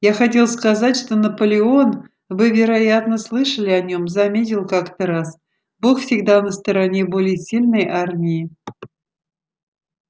я хотел сказать что наполеон вы вероятно слышали о нем заметил как-то раз бог всегда на стороне более сильной армии